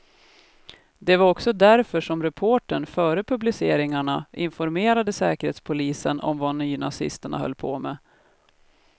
Det var också därför som reportern före publiceringarna informerade säkerhetspolisen om vad nynazisterna höll på med.